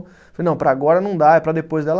Falei, não, para agora não dá, é para depois, ela